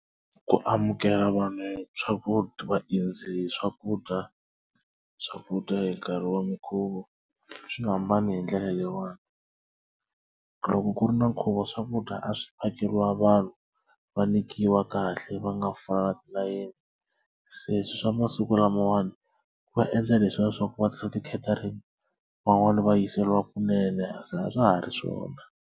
Ku amukela vanhu swakudya vaendzi swakudya swakudya hi nkarhi wa minkhuvo swi hambane hi ndlela leyiwani loko ku ri na nkhuvo swakudya a swi phakeriwa vanhu va nyikiwa kahle va nga fani na yena se swa masiku lamawani ku va endla leswiya swaku va tirhisa ti catering van'wani va yiseriwa kunene se a swa ha ri swona.